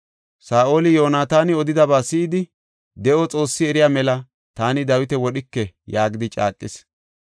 Saa7oli Yoonataani odidaba si7idi, “De7o Xoossi eriya mela, taani Dawita wodhike” yaagidi caaqis.